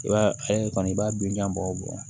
I b'a kɔni i b'a bin jan bɔ